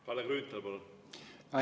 Kalle Grünthal, palun!